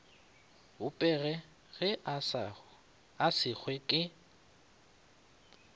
bopege ge a segwa ke